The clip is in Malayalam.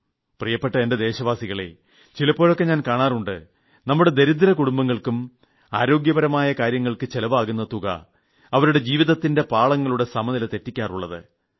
പ്രിയപ്പെട്ട എന്റെ ദേശവാസികളെ ചിലപ്പോഴൊക്കെ ഞാൻ കാണാറുണ്ട് നമ്മുടെ ദരിദ്ര കുടംബങ്ങൾക്കും ആരോഗ്യപരമായ കാര്യങ്ങൾക്ക് ചിലവാകുന്ന തുക അവരുടെ ജീവിതത്തിന്റെ പാളങ്ങളുടെ സമനില തെറ്റിക്കാറുള്ളത്